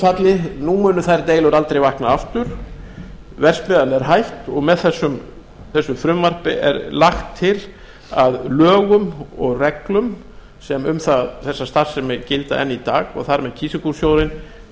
falli munu þær deilur aldrei vakna aftur verksmiðjan er hætt og með þessu frumvarpi er lagt til að lögum og reglum sem um þessa starfsemi gilda enn í dag og þar með kísilgúrsjóðinn